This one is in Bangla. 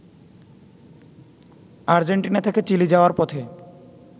আর্জেন্টিনা থেকে চিলি যাওয়ার পথে